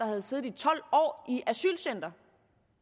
havde siddet i tolv år i et asylcenter